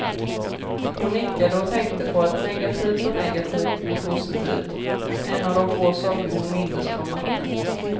Hon nickade och tänkte på att negativt och negativt blir positivt, en av de få saker hon mindes från matten.